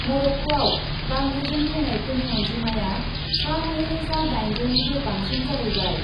मर'क्क'आव बांग्रिजों थैनायफोरनि अन्जिमाया सा नैरोजा दाइनजौनिबो बांसिन जाहैबाय।